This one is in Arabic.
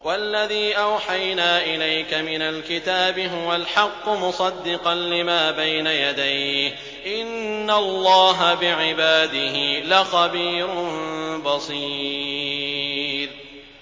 وَالَّذِي أَوْحَيْنَا إِلَيْكَ مِنَ الْكِتَابِ هُوَ الْحَقُّ مُصَدِّقًا لِّمَا بَيْنَ يَدَيْهِ ۗ إِنَّ اللَّهَ بِعِبَادِهِ لَخَبِيرٌ بَصِيرٌ